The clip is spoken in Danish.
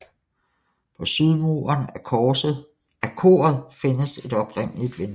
På sydmuren af koret findes et oprindeligt vindue